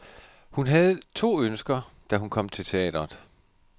Hun havde to ønsker, da hun kom til teatret.